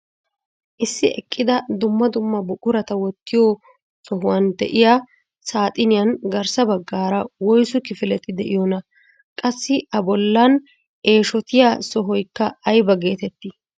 Issi eqqida dumma dumma buqurata wottiyoo sohuwaan de'iyaa saxiniyaan garssa baggaara wooysu kifileti de'iyoonaa? Qassi a bollan eshotiyaa sohoyikka ayba getettii?